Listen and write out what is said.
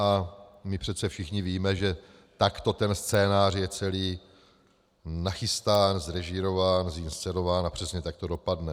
A my přece všichni víme, že takto ten scénář je celý nachystán, zrežírován, zinscenován a přesně tak to dopadne.